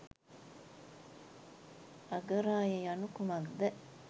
අගරාය යනු කුමක්ද?